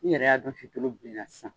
Ni yɛrɛ y'a dɔn si tulu bilenna sisan.